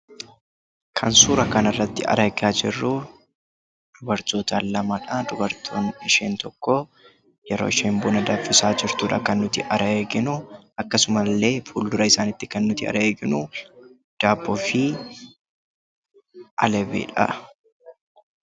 Kan suuraa kanarratti argaa jirru dubartoota lamadha. Dubartiin isheen tokko yeroo ishee buna danfisaa jirtudha kan nuti arginu akkasumallee fuuldura isaaniitti kan nuti arginu daabboo fi albeedha.